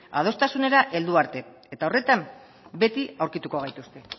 adostasunera heldu arte eta horretan beti aurkituko gaituzte